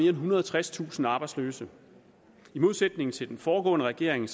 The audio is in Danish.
ethundrede og tredstusind arbejdsløse i modsætning til den foregående regering